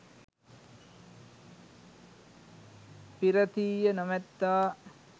පී්‍රතිය නොමැත්තා